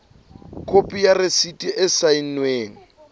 khopi ya rasiti e saennweng